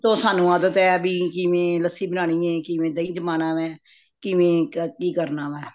ਸ਼ੁਰੂ ਤੋਂ ਸਾਂਨੂੰ ਆਦਤ ਅਬੀ ਕਿਵੇ ਲੱਸੀ ਬਨਾਨੀ ਵੇ ਕਿਵੇਂ ਦਹੀਂ ਜਮਨਾ ਵੇ ਕਿਵੇਂ ਕਿ ਕਰਨਾ ਵੇ